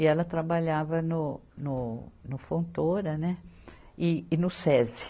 E ela trabalhava no, no Fontoura e, e no Sesi.